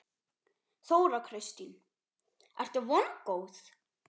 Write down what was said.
Þóra Kristín: Ertu vongóð?